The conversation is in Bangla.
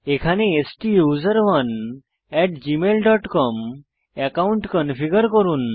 থান্ডারবার্ডে STUSERONE gmailকম একাউন্ট কনফিগার করুন